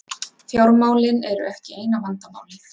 Fjármálin eru ekki eina vandamálið.